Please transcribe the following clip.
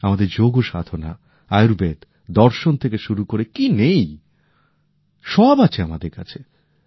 আমাদের যোগসাধনা আয়ুর্বেদ দর্শন থেকে শুরু করে কি নেই সব আছে আমাদের কাছে